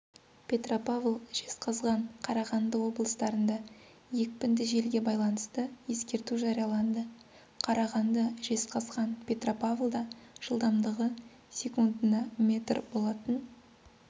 петропавл жезқазған қарағанды облыстарында екпінді желге байланысты ескерту жарияланды қарағанды жезқазған петропавлда жылдамдығы секундына метр болатын